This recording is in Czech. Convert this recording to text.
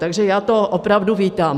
Takže já to opravdu vítám.